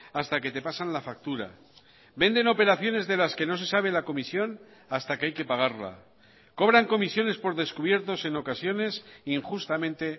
hasta que te pasan la factura venden operaciones de las que no se sabe la comisión hasta que hay que pagarla cobran comisiones por descubiertos en ocasiones injustamente